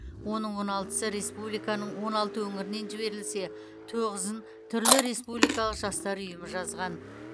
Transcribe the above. оның он алтысы республиканың он алты өңірінен жіберілсе тоғызын түрлі республикалық жастар ұйымы жазған